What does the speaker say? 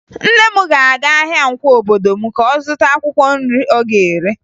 Nne m ga-aga ahịa Nkwọ obodo m ka ọ zụta akwụkwọ nri ọ ga-ere